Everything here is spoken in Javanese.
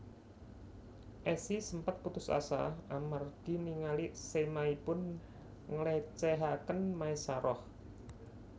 Esi sempet putus asa amargi ningali sémahipun nglécéhaken Maesaroh